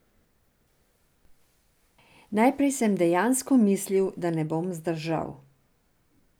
Najprej sem dejansko mislil, da ne bom zdržal.